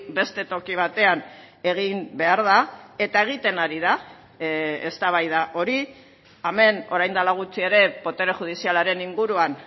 beste toki batean egin behar da eta egiten ari da eztabaida hori hemen orain dela gutxi ere botere judizialaren inguruan